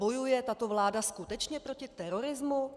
Bojuje tato vláda skutečně proti terorismu?